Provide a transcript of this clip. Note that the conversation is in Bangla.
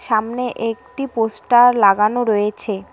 সামনে একটি পোস্টার লাগানো রয়েছে।